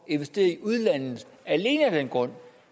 investere i udlandet alene af den grund